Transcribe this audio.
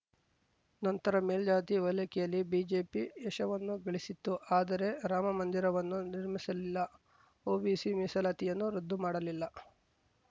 ನಂತರ ಮೇಲ್ಜಾತಿ ಓಲೈಕೆಯಲ್ಲಿ ಬಿಜೆಪಿ ಯಶವನ್ನೂ ಗಳಿಸಿತ್ತು ಆದರೆ ರಾಮಮಂದಿರವನ್ನೂ ನಿರ್ಮಿಸಲಿಲ್ಲ ಒಬಿಸಿ ಮೀಸಲಾತಿಯನ್ನೂ ರದ್ದು ಮಾಡಲಿಲ್ಲ